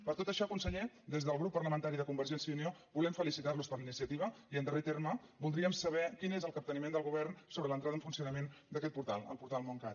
per tot això conseller des del grup parlamentari de convergència i unió volem felicitarlos per la iniciativa i en darrer terme voldríem saber quin és el capteniment del govern sobre l’entrada en funcionament d’aquest portal el portal móncat